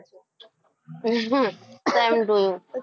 same to you.